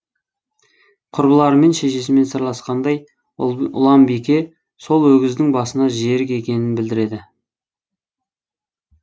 құрбыларымен шешесімен сырласқандай ұланбике сол өгіздің басына жерік екенін білдіреді